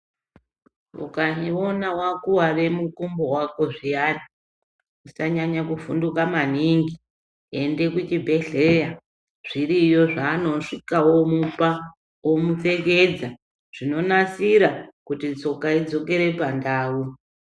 Ukawone wakuware mukumbo wako zviyani usanyanye kuvhunduka maningi ende kuchibhehleya zviriyo zvaanosvika omupa omupfekedza zvinonasira kuti tsoka idzokere pandau.